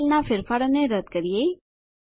આ સેલનાં ફેરફારને રદ્દ કરીએ